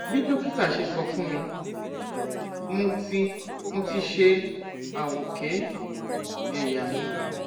bí dókítà ṣe sọ fún mi mo ti mo ti ṣe àwòké ẹyà mi